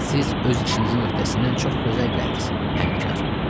Siz öz işinizin öhdəsindən çox gözəl gəldiz, Həmkar.